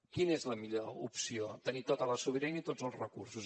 quina és la millor opció tenir tota la sobirania i tots els recursos